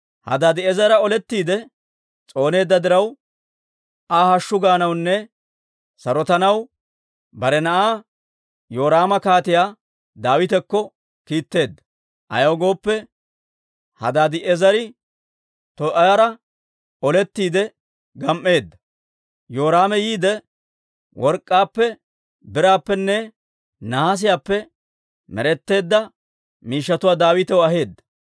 Hadaadi'eezera olettiide s'ooneedda diraw, Aa hashshu gaanawunne sarotanaw bare na'aa Yoraama Kaatiyaa Daawitakko kiitteedda. Ayaw gooppe, Hadaadi'eezere Too'aara olettiide gam"eedda. Yoraame yiidde work'k'aappe, biraappenne nahaasiyaappe med'etteedda miishshatuwaa Daawitaw aheedda.